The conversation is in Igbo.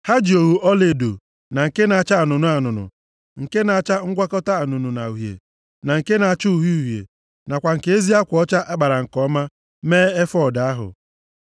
Ha ji ogho ọlaedo, na nke na-acha anụnụ anụnụ, nke na-acha ngwakọta anụnụ na uhie, na nke na-acha uhie uhie, nakwa nke ezi akwa ọcha a kpara nke ọma mee efọọd ahụ.